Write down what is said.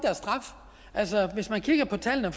altså hvis man kigger på tallene